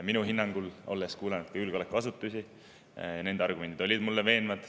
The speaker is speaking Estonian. Mina olen kuulanud ka julgeolekuasutusi ja nende argumendid olid minu meelest veenvad.